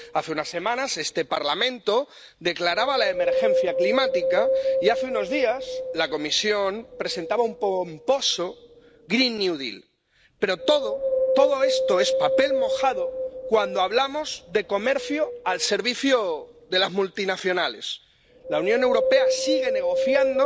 Hace unas semanas este Parlamento declaraba la emergencia climática, y hace unos días la Comisión presentaba un pomposo pero todo, todo esto, es papel mojado cuando hablamos de comercio al servicio de las multinacionales. La Unión Europea sigue negociando